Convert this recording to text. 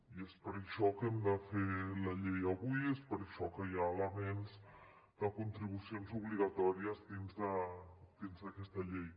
i és per això que hem de fer la llei avui i és per això que hi ha elements de contribucions obligatòries dins d’aquesta llei